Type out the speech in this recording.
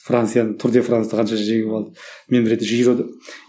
францияны тур де францты қанша жеңіп алды